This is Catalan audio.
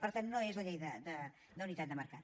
per tant no és la llei d’unitat de mercat